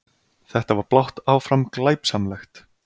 Þetta var blátt áfram glæpsamlegt!